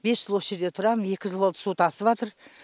бес жыл осы жерде тұрам екі жыл болды су тасыватыр